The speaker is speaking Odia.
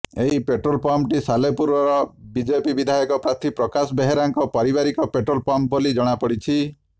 ଏହି ପେଟ୍ରୋଲ ପମ୍ପଟି ସାଲେପୁର ବିଜେପି ବିଧାୟକ ପ୍ରାର୍ଥୀ ପ୍ରକାଶ ବେହେରାଙ୍କ ପାରିବାରିକ ପେଟ୍ରୋଲ ପମ୍ପ୍ ବୋଲି ଜଣାପଡିଛି